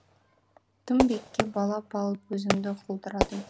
тым биікке балап алып өзіңді құлдырадым